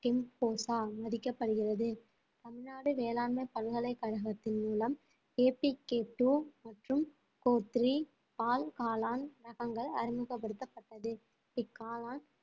மதிக்கப்படுகிறது தமிழ்நாடு வேளாண்மை பல்கலைக்கழகத்தின் மூலம் மற்றும் பால் காளான் ரகங்கள் அறிமுகப்படுத்தப்பட்டது இக்காளான்